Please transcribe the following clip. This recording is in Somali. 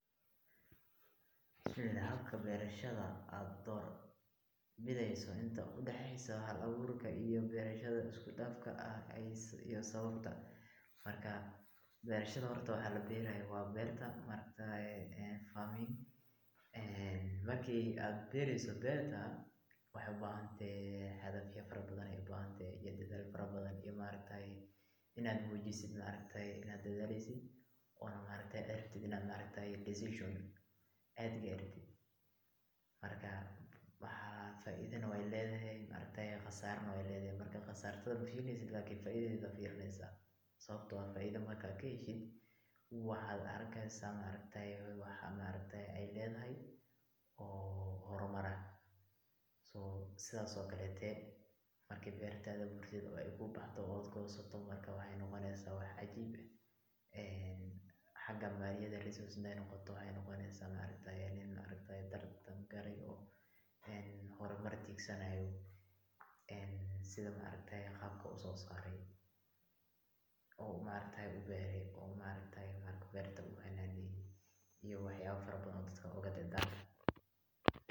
Habka beerashada aad door bideeyso inta udaxeeyso hal abuurka iyo beerashada isku dafka ah iyo sababta, marka beerashada horta waxa labeerayo waa beerta, marki aad beereyso beerta waxaay ubahan tahay agafya fara badan iyo dadaal fara badan iyo maaragtaye inaad muujiso inaad dadaaleyso, oona aad rabtid inaad decision aad gaartid, marka faaidana weey ledahay khasaarana weey ledahay, marka khasaartada mafiirineysid lakin faidadeeda ayaa fiirineysa, sababta oo ah faaida markaad kaheshid waxaad arkeysa waxa aay ledahay oo hormar ah, sidaas oo kaleete markaad beertada gurtid oo aay kuu baxdo oo aad goosato, waxeey noqoneysa wax cajiib ah, xaga maliyaha hadaay noqoto waxaad noqoneysa nin hormar tiigsanaayo, sida qaabka uu usoo saare, oo uu ubeere, iyo wax yaaba fara badan oo dadka uugu dardarmi.